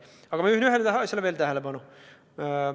Aga ma juhin veel ühele asjale tähelepanu.